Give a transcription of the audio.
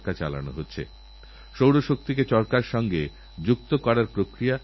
যে সমস্ত স্কুলে এরকম টিঙ্কারিং ল্যাব তৈরি হবে তাদের দশ লক্ষ করে টাকা দেওয়া হবে